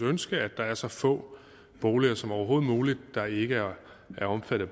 ønske at der er så få boliger som overhovedet muligt der ikke er omfattet